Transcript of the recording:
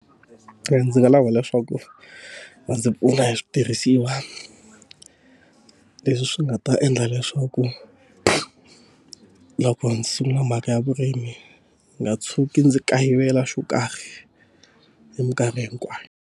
Ndzi nga lava leswaku va ndzi pfuna hi switirhisiwa leswi swi nga ta endla leswaku loko ndzi sungula mhaka ya vurimi, ndzi nga tshuki ndzi kayivela xo karhi hi mikarhi hikwayo.